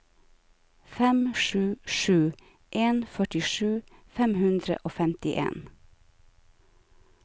fem sju sju en førtisju fem hundre og femtien